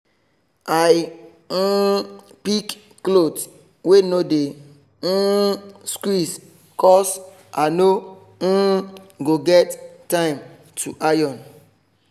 i um pick cloth wey no dey um squeeze cos i no um go get time to iron